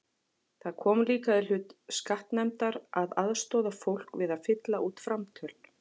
Það kom líka í hlut skattanefndar að aðstoða fólk við að fylla út framtöl.